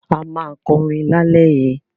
A máa kọrin lálẹ́ yìí.